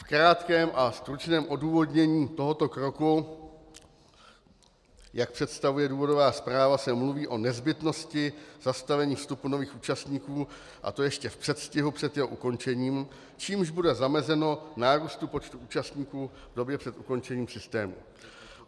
V krátkém a stručném odůvodnění tohoto kroku, jak představuje důvodová zpráva, se mluví o nezbytnosti zastavení vstupu nových účastníků, a to ještě v předstihu před jeho ukončením, čímž bude zamezeno nárůstu počtu účastníků v době před ukončením systému.